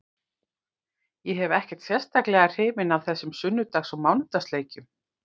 Ég er ekkert sérstaklega hrifinn af þessum sunnudags og mánudags leikjum.